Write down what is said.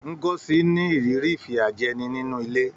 Ngozi ní ìrírí ìfìyàjẹni nínú ilé.